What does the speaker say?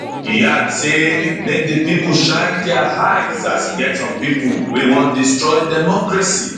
e add say make di pipo shine dia eyes as e get some pipo wey wan destroy democracy